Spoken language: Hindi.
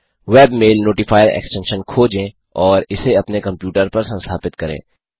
वेबमेल नोटिफायर एक्सटेंशन खोजें और इसे अपने कंप्यूटर पर संस्थापित करें